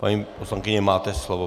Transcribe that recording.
Paní poslankyně, máte slovo.